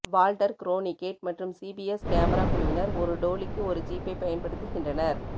Walter Cronkite மற்றும் CBS camera குழுவினர் ஒரு டோலிக்கு ஒரு ஜீப்பைப் பயன்படுத்துகின்றனர்